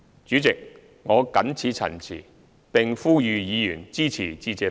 主席，我謹此陳辭，並呼籲議員支持致謝議案。